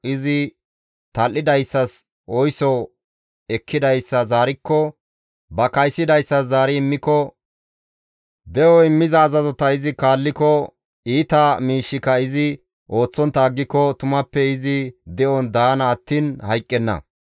izi tal7idayssas oyso ekkidayssa zaarikko, ba kaysidayssa zaari immiko, de7o immiza azazota izi kaalliko, iita miishshika izi ooththontta aggiko tumappe izi de7on daana attiin hayqqenna.